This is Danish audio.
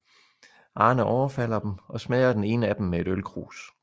Arne overfalder dem og smadrer den ene af dem med et ølkrus